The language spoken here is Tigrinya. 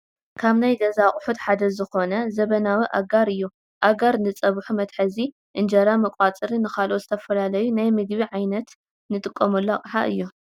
ካብ ናይ ገዛ ኣቑሑት ሓደ ዝኾነ ዘበናዊ ኣጋር እዩ፡፡ ኣጋር ንፀብሑ መትሓዚ፣ እንጀራ መቋፀሪ ን ካልኦት ዝተፈላለዩ ናይ ምግቢ ዓይነታ እንጥቅመሉ ኣቕሓ እዩ፡፡